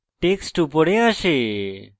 text উপরে আসে